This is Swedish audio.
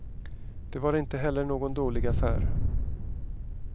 Det var inte heller någon dålig affär.